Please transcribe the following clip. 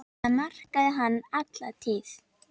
Það markaði hann alla tíð.